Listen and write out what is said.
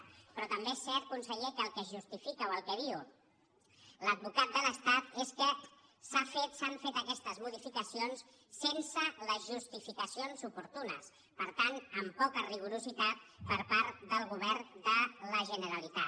pe·rò també és cert conseller que el que justifica o el que diu l’advocat de l’estat és que s’han fet aquestes mo·dificacions sense les justificacions oportunes per tant amb poc rigor per part del govern de la generalitat